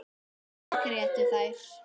Allar grétu þær.